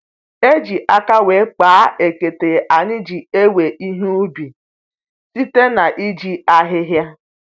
E ji aka wee kpaa ekete anyị ji ewe ihe ubi, site na-iji ahịhịa